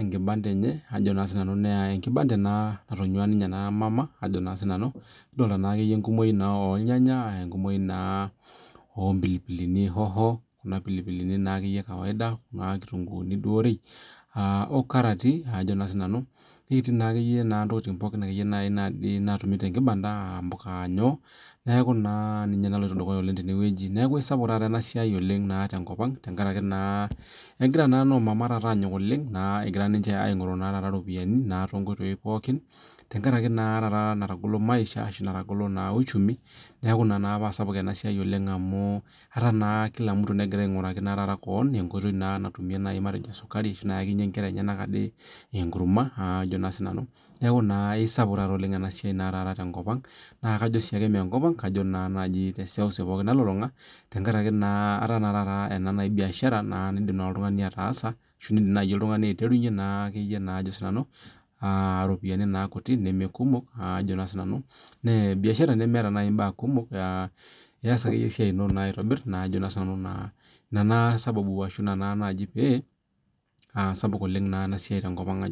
enkibanda enye naa enkibanda natonyua ena mama kidolita naa enkumoki ornyanya enkumoki oo pilipili hoho Kuna pilipili kawaida kitunguu oo nkarati netii akeyie ntokitin pookin natumi tee nmibanda aa mbuka aa nyoo neeku ninye naloito dukuya neeku kisapuk taa enasiai tenkop tenkaraki kenyokita naa taata noo mama egira aing'oru eropiani too nkoitoi pookin tenkaraki natagolo maisha ashu natagolo uchumi neeku enaa paa sapuk enasiai oleng amu etaa naa kila mtu negira aing'oraki kewon enkoitoi nayakinye adake enkera enyena enkurna neeku esapuk ena siai tenkop ang naa majo sii enkop kajo naa te seuseu nalulung'a tenkaraki ena biashara nidim oltung'ani ataasa ashu nidim najii oltung'ani aitrenye eropiani kutik naa biashara nemeeta mbaa kumok eas ake duo esiai eno aitobir neeku ena sababu ashu naaji pee aisapuk enasiai tenkop ang